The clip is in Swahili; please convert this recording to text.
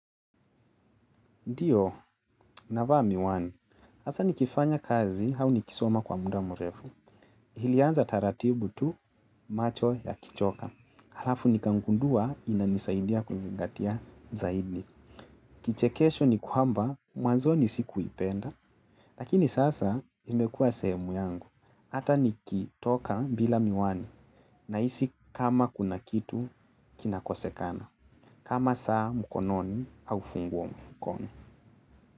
Ndio navaa miwani hasa nikifanya kazi au nikisoma kwa muda mrefu. Ilianza taratibu tu macho yakichoka. Halafu nikagundua inanisaidia kuzingatia zaidi. Kichekesho ni kwamba, mwanzoni sikuipenda. Lakini sasa imekuwa sehemu yangu. Hata nikitoka bila miwani nahisi kama kuna kitu kinakosekana. Kama saa mkononi au funguo mfukoni.